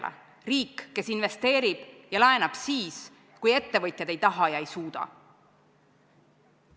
Meil on riik, kes investeerib ja laenab siis, kui ettevõtjad ei taha või ei suuda.